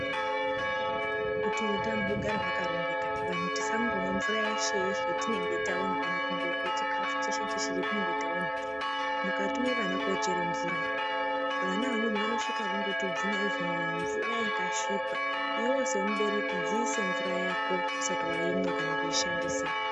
Kuti utano hugare hwakarongeka vanhu tisngomwe mvura yeshe yeshe yatinenge taona ,kana kungorye chifau cheshe cheshe chatinenge taona, mukatume vana kochere mvura vana amweni vanosvika vondotubvunya chero mumvura yakasvipa ,iwewe semubereki dziise mvura yako usati waimwa kana kuishandisa.